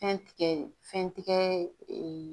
Fɛn tigɛ fɛn tigɛ